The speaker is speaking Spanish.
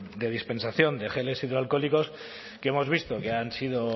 de dispensación de geles hidroalcohólicos que hemos visto que han sido